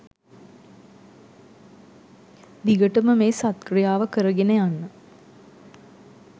දිගටම මේ සත් ක්‍රියාව කරගෙන යන්න